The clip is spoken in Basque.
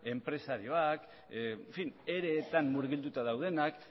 enpresariek ere etan murgilduta daudenak